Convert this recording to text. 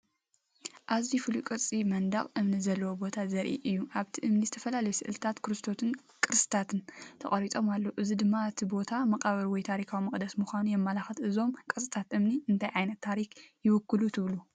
እዚኣዝዩ ፍሉይ ቅርጺ መንደቕ እምኒ ዘለዎ ቦታ ዘርኢ እዩ። ኣብቲ እምኒ ዝተፈላለዩ ስእልታት ክርስቶስን ቅስትታትን ተቐሪጾም ኣለዉ፣ እዚ ድማ እቲ ቦታ መቓብር ወይ ታሪኻዊ መቕደስ ምዃኑ የመልክት። እዞም ቅርጻታት እምኒ እንታይ ዓይነት ታሪኽ ይውክሉ ትብሉ?"